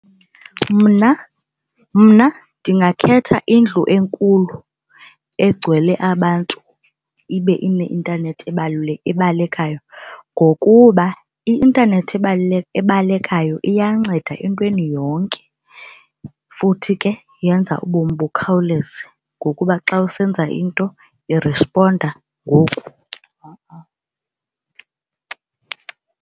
Mna mna ndingakhetha indlu enkulu egcwele abantu ibe ineintanethi ebalekayo ngokuba i-intanethi ebalekayo iyanceda entweni yonke futhi ke yenza ubomi bukhawuleze ngokuba xa usenza into irisponda ngoku.